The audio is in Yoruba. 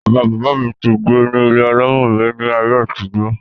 bàbá bàbá mi ti gbé ní ilé alámọ̀ rí ní ayé àtijọ́.